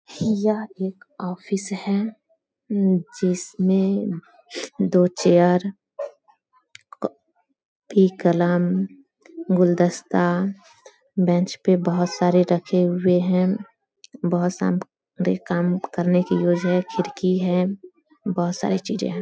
यह एक ऑफिस है जिसमे दो चेयर अ क पी कलम गुलदस्ता बेंच पे बहुत सारे रखे हुए है खिड़की है बहुत सारी चीजे है।